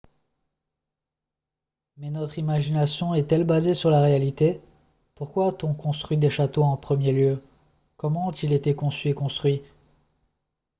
mais notre imagination est-elle basée sur la réalité pourquoi a-t-on construit des châteaux en premier lieu comment ont-ils été conçus et construits